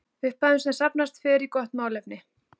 Upphæðin sem safnast fer í gott málefni.